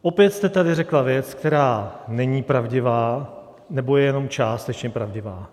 Opět jste tady řekla věc, která není pravdivá nebo je jenom částečně pravdivá.